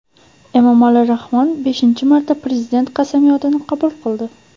Emomali Rahmon beshinchi marta prezident qasamyodini qabul qildi.